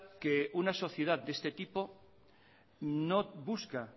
que una sociedad de este tipo no busca